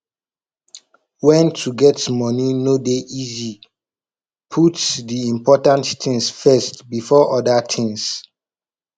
when to get money no dey easy put di important things first before oda things